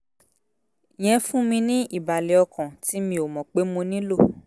yẹn fún mi ní ìbàlẹ̀ ọkàn tí mi ò mọ̀ pé mo nílò